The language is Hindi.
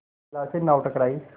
बेला से नाव टकराई